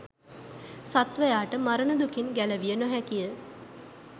සත්වයාට මරණ දුකින් ගැලවිය නොහැකිය.